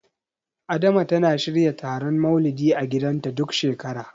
Adama tana shirya taron Maulidi a gidanta, duk shekara.